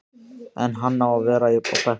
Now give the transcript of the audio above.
En á hann að vera á bekknum?